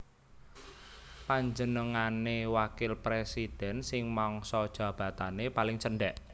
Panjenengane wakil presiden sing mangsa jabatane paling cendek